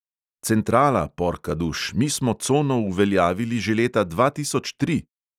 Centrala, porkaduš, mi smo cono uveljavili že leta dva tisoč tri!